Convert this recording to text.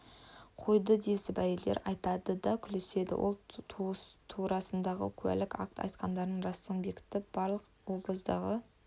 қояды десіп әйелдер айтады да күліседі ол турасындағы куәлік-акт айтқандарының растығын бекітіп барлық обоздағы